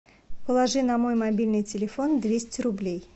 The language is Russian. положи на мой мобильный телефон двести рублей